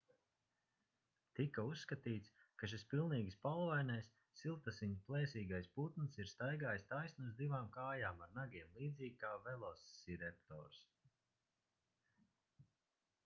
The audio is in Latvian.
tika uzskatīts ka šis pilnīgi spalvainais siltasiņu plēsīgais putns ir staigājis taisni uz divām kājām ar nagiem līdzīgi kā velosireptors